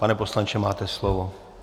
Pane poslanče, máte slovo.